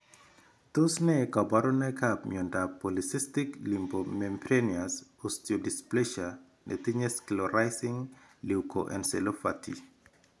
Tos ne kaborunoikap miondop Polycystic lipomembranous osteodysplasianetinye sclerosing leukoencephalopathy?